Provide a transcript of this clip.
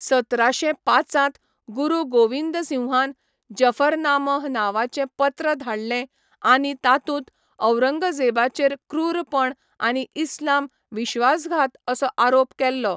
सतराशे पांचांत गुरू गोविंदसिंहान जफरनामह नांवाचें पत्र धाडलें आनी तातूंत औरंगजेबाचेर क्रूरपण आनी इस्लाम विश्वासघात असो आरोप केल्लो.